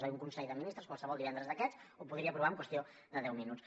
és a dir un consell de ministres qualsevol un divendres d’aquests ho podria aprovar en qüestió de deu minuts